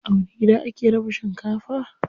A wani gida ake raba shinkafa?